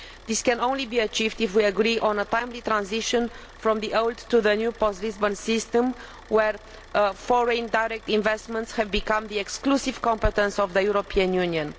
This can only be achieved if we agree on a timely transition from the old to the new post Lisbon system, where foreign direct investments have become the exclusive competence of the European Union.